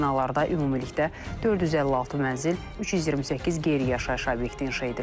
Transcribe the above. Binalarda ümumilikdə 456 mənzil, 328 qeyri-yaşayış obyekti inşa edilib.